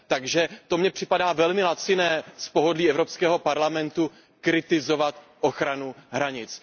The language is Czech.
Takže to mně připadá velmi laciné z pohodlí Evropského parlamentu kritizovat ochranu hranic.